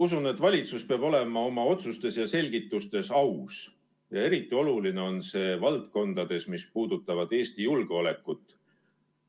Usun, et valitsus peab olema oma otsustes ja selgitustes aus ja eriti oluline on see valdkondades, mis puudutavad Eesti julgeolekut.